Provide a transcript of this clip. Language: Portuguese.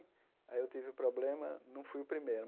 Aí eu tive o problema, não fui o primeiro.